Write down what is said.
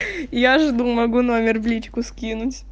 я жду могу номер в личку скинуть